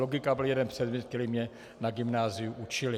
Logika byl jeden předmět, který mě na gymnáziu učili.